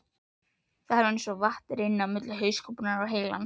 Það var eins og vatn rynni milli hauskúpunnar og heilans.